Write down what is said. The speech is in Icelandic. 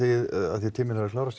því tíminn er að klárast